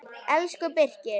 Elsku Birkir.